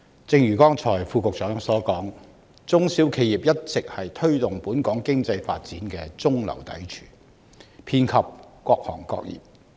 正如剛才局長所說，中小企一直是推動本港經濟發展的中流砥柱，遍及各行各業。